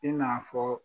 I n'a fɔ